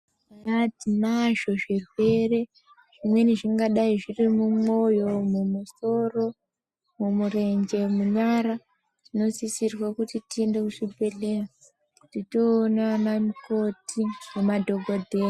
Aa tinazvo zvirwere zvimweni zvingadai zviri mumwoyo mumusoro mumurEnje munyara tinosisirwe kuti tiende kuzvibhedhleya tinoona ana mukoti nemadhokodheya.